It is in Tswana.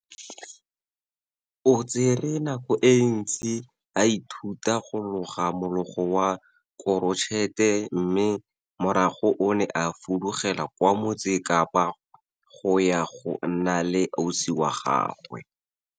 O tsere nako e ntsi a ithuta go loga mologo wa korotšhete mme morago o ne a fudugela kwa Motse Kapa go ya go nna le ausi wa gagwe.